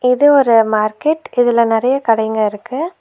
இது ஒரு மார்க்கெட் இதுல நெறைய கடைங்க இருக்கு.